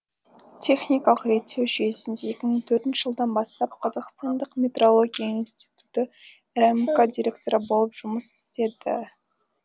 техникалық реттеу жүйесінде екі мың төртінші жылдан бастап қазақстандық метрология институты рмк директоры болып жұмыс істеді